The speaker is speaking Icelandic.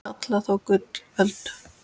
kalla þó gullöld